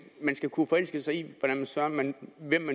skal kunne forelske sig i hvem søren man